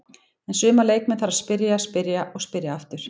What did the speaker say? En suma leikmenn þarf að spyrja, spyrja og spyrja aftur.